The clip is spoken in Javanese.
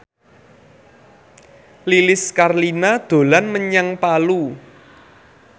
Lilis Karlina dolan menyang Palu